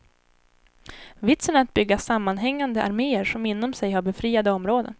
Vitsen är att bygga sammanhängande armeer som inom sig har befriade områden.